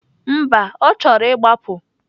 Mba, ọ chọrọ ịgbapụ.